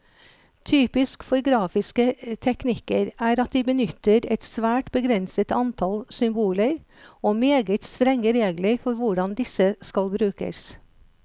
Typisk for grafiske teknikker er at de benytter et svært begrenset antall symboler, og meget strenge regler for hvordan disse skal brukes.